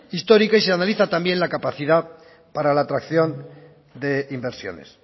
histórica y se analiza también la capacidad para la atracción de inversiones